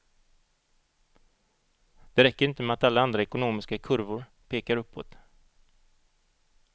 Det räcker inte med att alla andra ekonomiska kurvor pekar uppåt.